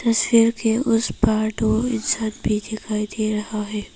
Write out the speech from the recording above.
उस पार दो इंसान भी दिखाई दे रहा है।